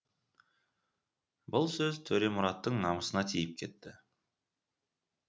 бұл сөз төремұраттың намысына тиіп кетті